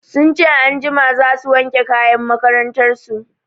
Sun ce anjima za su wanke kayan makarantar su.